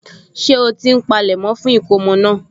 Ṣé ó ti ń polẹ̀mọ́ fún ìkómọ náà?